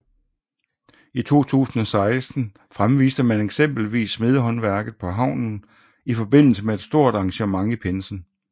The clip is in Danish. I 2016 fremviste man eksempelvis smedehåndværket på havnen i forbindelse med et stort arrangement i pinsen